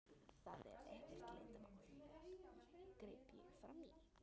Það er ekkert leyndarmál, greip ég fram í.